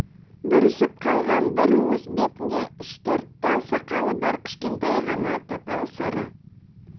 бүрісіп қалған бір уыс бетінде үш-төрт тал сақалы бар кішкентай ғана тапал сары